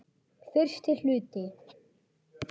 Fyrsti hluti